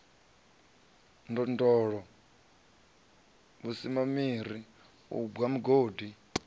ndondolo vhusimamiri u bwa migodi